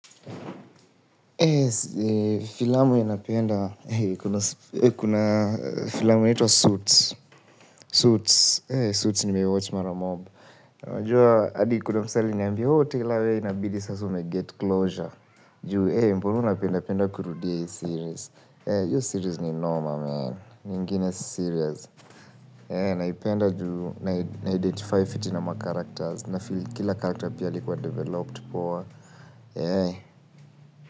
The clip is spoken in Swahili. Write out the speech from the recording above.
Filamu ninapenda, kuna filamu inaitwa Suits suits. Suits nimeiwatch mara mob unajua, adi kuna msee aliniambia ooh taylor wewe inabidi sasa umeget closure. Juu eeh mbona unapenda penda kurudia hii series. Hio series ni noma mehn, ni ingine serious. Naipenda juu, na identify fiti na macharacters, nafeel kila character pia alikuwa developed. Poa eeh.